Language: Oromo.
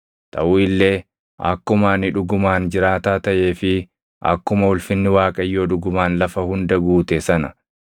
Taʼu illee akkuma ani dhugumaan jiraataa taʼee fi akkuma ulfinni Waaqayyoo dhugumaan lafa hunda guute sana,